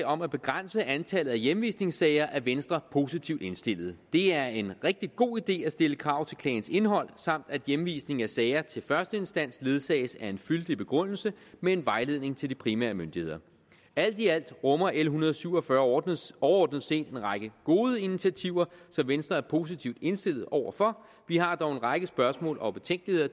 om at begrænse antallet af hjemvisningssager er venstre positivt indstillet det er en rigtig god idé at stille krav til klagens indhold samt at hjemvisningen af sager til førsteinstans ledsages af en fyldig begrundelse med en vejledning til de primære myndigheder alt i alt rummer l en hundrede og syv og fyrre overordnet overordnet set en række gode initiativer som venstre er positivt indstillet over for vi har dog en række spørgsmål og betænkeligheder i